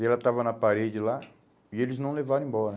E ela estava na parede lá e eles não levaram embora.